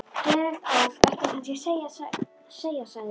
Gleðilegt ár, ætti ég kannski að segja sagði